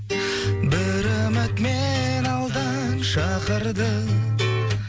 бір үміт мені алдан шақырды